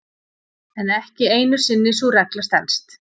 en ekki einu sinni sú regla stenst